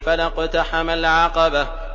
فَلَا اقْتَحَمَ الْعَقَبَةَ